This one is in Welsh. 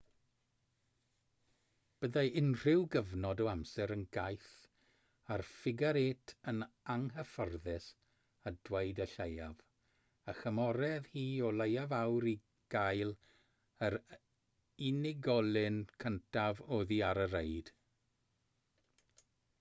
byddai unrhyw gyfnod o amser yn gaeth ar ffigar-êt yn anghyfforddus a dweud y lleiaf a chymerodd hi o leiaf awr i gael yr unigolyn cyntaf oddi ar y reid